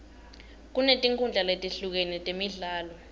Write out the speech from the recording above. kunetinkhundla letehlukene temidlalo